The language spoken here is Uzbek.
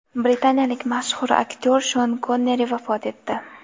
Britaniyalik mashhur aktyor Shon Konneri vafot etdi.